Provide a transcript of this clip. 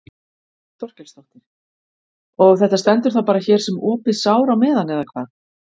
Þórhildur Þorkelsdóttir: Og þetta stendur þá bara hér sem opið sár á meðan eða hvað?